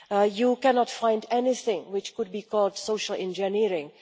You cannot find anything which could be called social engineering.